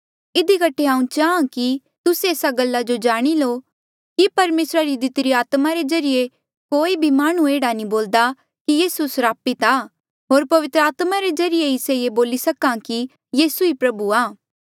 इधी कठे हांऊँ चाहां की तुस्सा एस्सा गल्ला जो जाणी लो कि परमेसरा री दितिरी आत्मा रे ज्रीए कोई भी माह्णुं एह्ड़ा नी बोल्दा कि यीसू स्रापित आ होर पवित्र आत्मा रे ज्रीए ही से ये बोली सक्हा कि यीसू ही प्रभु आ